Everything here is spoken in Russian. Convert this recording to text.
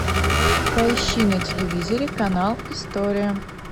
поищи на телевизоре канал история